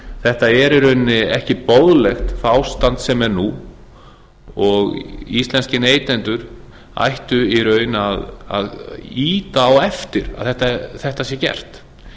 þetta er í rauninni ekki boðlegt það ástand sem er nú og íslenskir neytendur ættu í raun að ýta á eftir að þetta sé gert